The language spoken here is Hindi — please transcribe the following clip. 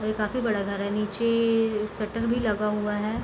और ये काफी बड़ा घर है। निचे ए ए शटर भी लगा हुआ है।